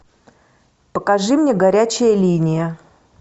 покажи мне горячая линия